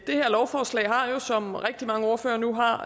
det her lovforslag har jo som rigtig mange ordførere nu har